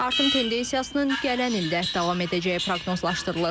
Artım tendensiyasının gələn ildə davam edəcəyi proqnozlaşdırılır.